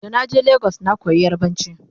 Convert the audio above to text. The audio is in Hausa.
da na je legas na koya yarbanci